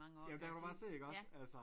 Jamen der kan du bare se iggås altså